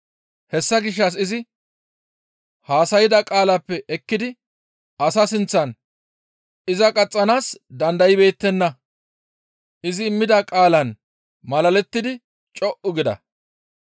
Hessa gishshas izi haasayda qaalappe ekkidi asaa sinththan iza qaxxanaas dandaybeettenna; izi immida qaalan malalettidi co7u gida.